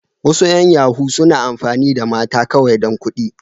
Wasu yan yahoo suna amfani da mata kawai dan kuɗi.